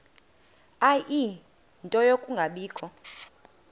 ie nto yokungabikho